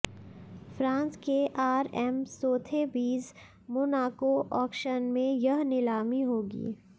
France के RM Sotheby's Monaco auction में यह नीलामी होगी